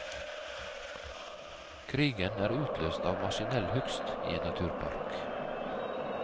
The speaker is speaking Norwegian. Krigen er utløst av maskinell hugst i en naturpark.